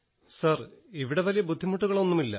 sir ഇവിടെ വലിയ ബുദ്ധിമുട്ടുകളൊന്നുമില്ല